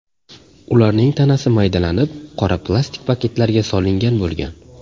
Ularning tanasi maydalanib, qora plastik paketlarga solingan bo‘lgan.